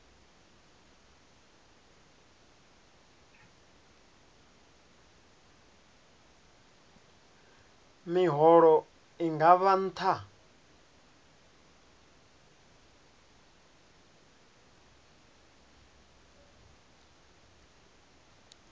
miholo i nga vha nṱha